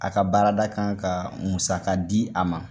A ka baarada kan ka musaka di a ma.